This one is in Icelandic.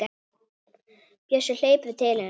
Bjössi hleypur til hennar.